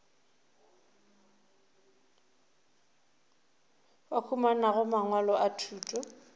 ba humanago mangwalo a thuto